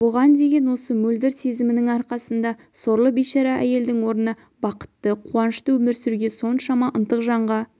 бұған деген осы мөлдір сезімінің арқасында сорлы бейшара әйелдің орнына бақытты қуанышты өмір сүруге соншама ынтық жанға